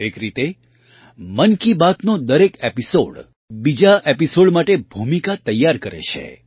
એક રીતે મન કી બાતનો દરેક એપિસૉડ બીજા એપિસૉડ માટે ભૂમિકા તૈયાર કરે છે